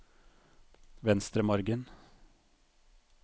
Venstremargen